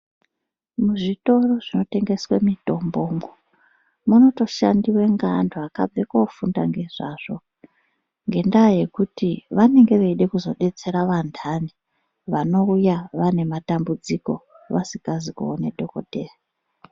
Muzvitoro zvinotengeswa mitombo munotoshanda ngevantu vakabve kofunda ngezvazvo ngendaa yekuti vanenge veida kuzodetsera vandani vanouya vanematambudziko vasizi kubva kunoona dhokodhera.